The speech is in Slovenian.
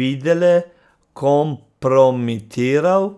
Videle kompromitiral.